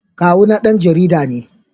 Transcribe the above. Kawuna dan jarida ne.